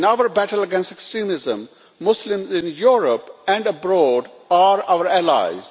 In our battle against extremism, Muslims in Europe and abroad are our allies.